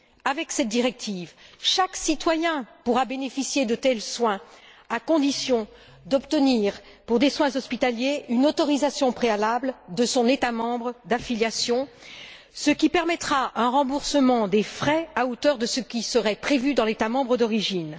Avec cette directive, chaque citoyen pourra bénéficier de tels soins, à condition d'obtenir, pour des soins hospitaliers, une autorisation préalable de son État membre d'affiliation, ce qui permettra un remboursement des frais à hauteur de ce qui serait prévu dans l'État membre d'origine.